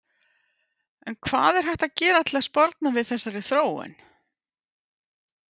En hvað er hægt að gera til að sporna við þessari þróun?